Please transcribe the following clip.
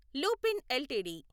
Lupin LTD